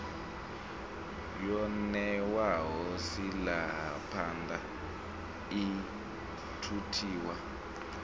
yo ṋewaho silahapani i thuthiwa